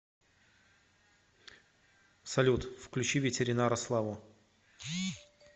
салют включи ветеринара славу